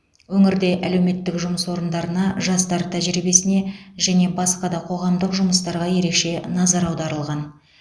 өңірде әлеуметтік жұмыс орындарына жастар тәжірибесіне және басқа да қоғамдық жұмыстарға ерекше назар аударылған